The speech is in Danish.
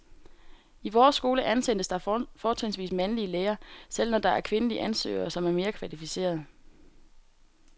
I vores skole ansættes der fortrinsvis mandlige lærere, selv når der er kvindelige ansøgere, som er mere kvalificerede.